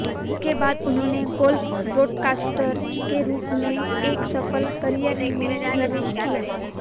उसके बाद उन्होंने गोल्फ ब्रॉडकास्टर के रूप में एक सफल करियर में प्रवेश किया